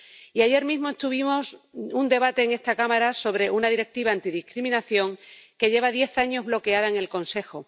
Y ayer mismo tuvimos un debate en esta cámara sobre una Directiva antidiscriminación que lleva diez años bloqueada en el Consejo.